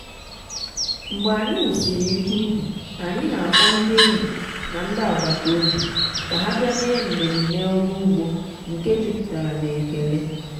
mgbe anyị wusịrị ihe ubi anyị na-akpọ ndị enyi na ndị agbata obi ka ha bịa mee mmemme ọrụ ugbo nke jupụtara na ekele.